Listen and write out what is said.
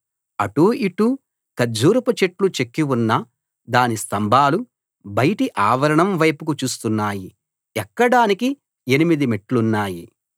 అటూ ఇటూ ఖర్జూరపు చెట్లు చెక్కి ఉన్న దాని స్తంభాలు బయటి ఆవరణం వైపుకు చూస్తున్నాయి ఎక్కడానికి ఎనిమిది మెట్లున్నాయి